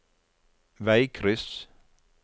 veikryss